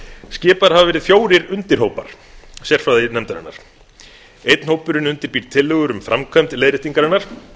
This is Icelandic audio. skipaðir hafa verið fjórir undirhópar sérfræðinefndarinnar einn hópurinn undirbýr tillögur um framkvæmd leiðréttingarinnar